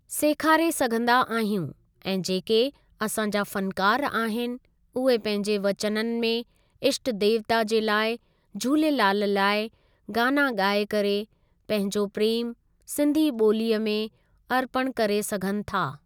सेखारे सघंदा आहियूं ऐं जेके असां जा फ़नकार आहिनि उहे पंहिंजे वचननि में इष्ट देवता जे लाइ झूलेलाल लाइ गाना ॻाए करे पंहिंजो प्रेमु सिंधी ॿोलीअ में अर्पणु करे सघनि था।